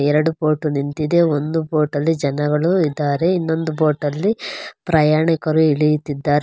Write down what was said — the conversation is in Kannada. ಎರಡು ಬೋಟು ನಿಂತಿದೆ. ಒಂದು ಬೋಟಲ್ಲಿ ಜನಗಳು ಇದ್ದಾರೆ ಇನ್ನೊಂದು ಬೋಟಲ್ಲಿ ಪ್ರಯಾಣಿಕರು ಇಳಿಯುತ್ತಿದಾರೆ.